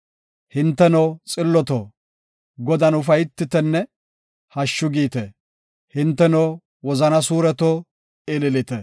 Hinteno, xilloto, Godan ufaytitenne hashshu giite; hinteno, wozana suureto, ililite.